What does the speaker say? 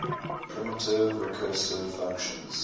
primitive recursive functions